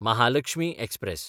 Mahalakshmi express